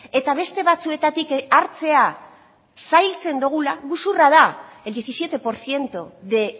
eta beste batzuetatik hartzea zailtzen dugula gezurra da el diecisiete por ciento de